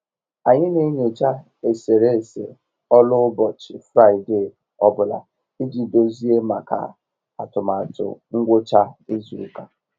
Anyị n'enyocha eserese ọlụ ụbọchị Fraịde ọ bụla iji dozie maka atụmatụ ngwucha izu ụka.